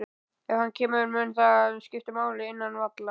Ef hann kemur, mun það skipta máli innan vallar?